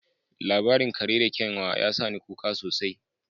Labarin kare da kyanwa ya sa ni kuka sosai